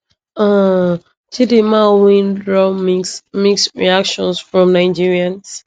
um chdimma win draw mixed mixed reactions from nigerians